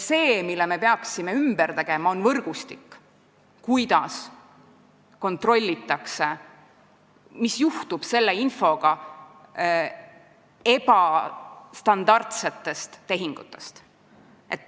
See, mille me peaksime ümber tegema, on võrgustik, kuidas kontrollitakse seda, mis juhtub infoga ebastandardsete tehingute kohta.